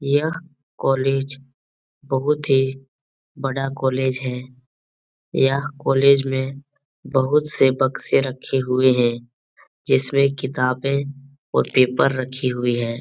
यह कॉलेज बहुत ही बड़ा कॉलेज है यह कॉलेज में बहुत से बक्से रखे हुए हैं जिसमें किताबें और पेपर रखी हुई है ।